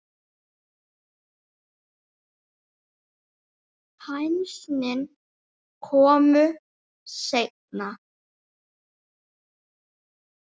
Hænsnin komu seinna.